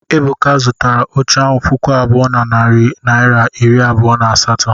Ebuka zụtara oche ahu puku abụọ na narị naịra iri abụọ na asatọ.